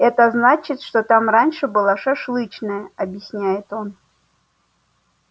это значит что там раньше была шашлычная объясняет он